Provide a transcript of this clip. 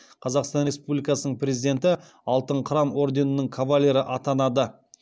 қазақстан республикасының президенті алтын қыран орденінің кавалері атанады